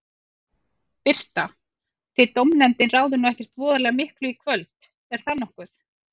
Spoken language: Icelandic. Birta: Þið dómnefndin ráðið nú ekkert voðalega miklu í kvöld, er það nokkuð?